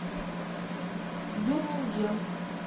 бирмингем